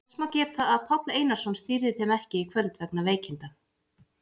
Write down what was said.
Þess má geta að Páll Einarsson stýrði þeim ekki í kvöld vegna veikinda.